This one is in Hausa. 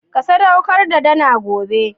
Ka sadaukar da dana gobe